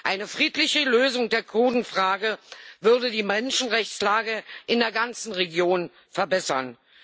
Eine friedliche Lösung der Kurdenfrage würde die Menschenrechtslage in der ganzen Region verbessern.